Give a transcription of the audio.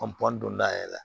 don da yɛrɛ la